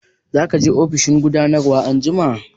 Za ka je ofishin gudanarwa anjima?